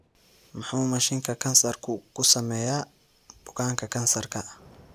Muxuu mashiinka kansarku ku sameeyaa bukaanka kansarka?